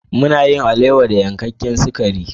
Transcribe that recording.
Mana yin alewa da narkaken sakari.